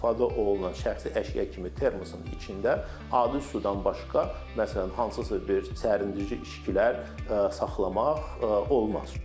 İstifadə olunan şəxsi əşya kimi termosun içində adi sudan başqa, məsələn hansısa bir sərinləşdirici içkilər saxlamaq olmaz.